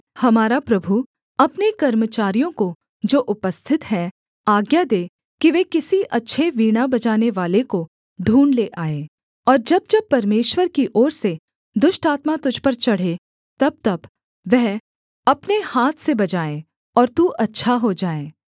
हमारा प्रभु अपने कर्मचारियों को जो उपस्थित हैं आज्ञा दे कि वे किसी अच्छे वीणा बजानेवाले को ढूँढ़ ले आएँ और जब जब परमेश्वर की ओर से दुष्ट आत्मा तुझ पर चढ़े तबतब वह अपने हाथ से बजाए और तू अच्छा हो जाए